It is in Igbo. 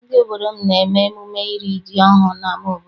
Ndị obodo m na-eme emume iri ji ọhụụ n'ama obodo.